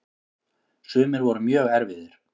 Sumir voru mjög erfiðir.